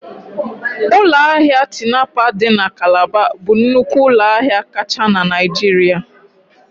Ụlọ ahịa Tinapa dị na Calabar bụ nnukwu ụlọ ahịa kacha na Naịjirịa